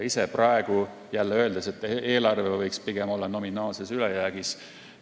Ise ütlen praegu jälle, et eelarve võiks pigem olla nominaalses ülejäägis.